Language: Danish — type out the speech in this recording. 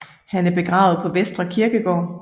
Han er begravet på Vestre Kirkegård